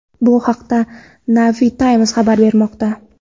Bu haqda Navy Times xabar bermoqda .